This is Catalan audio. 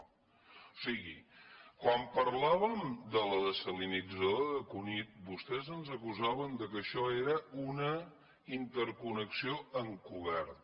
o sigui quan parlàvem de la dessalinitzadora de cunit vostès ens acusaven que això era una interconnexió encoberta